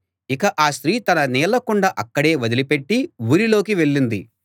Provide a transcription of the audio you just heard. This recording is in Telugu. ఇక ఆ స్త్రీ తన నీళ్ళ కుండ అక్కడే వదిలిపెట్టి ఊరిలోకి వెళ్ళింది